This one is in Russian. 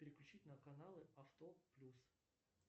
переключить на каналы авто плюс